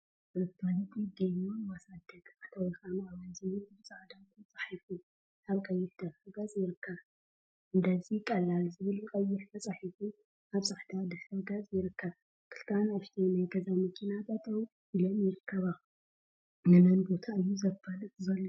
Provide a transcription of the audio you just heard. መፋለጢ ገቢዎን ማሳደግ/አታዊካ ምዕባይ/ ዝብል ብፃዕዳ ተፃሒፉ አብ ቀይሕ ድሕረ ገፅ ይርከብ፡፡ እንደዚ ቀሏል ዝብል ብቀይሕ ተፃሒፉ አብ ፃዕዳ ድሕረ ገፅ ይርከብ፡፡ ክልተ አናእሽተይ ናይ ገዛ መኪና ጠጠው ኢለን ይርከባ፡፡ ንመን ቦታ እዩ ዘፋልጥ ዘሎ?